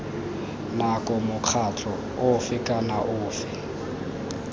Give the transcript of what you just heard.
nako mokgatlho ofe kana ofe